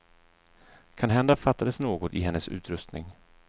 Kanhända fattades något i hennes utrustning.